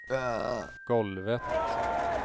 golvet